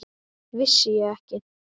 Vissi ég ekki!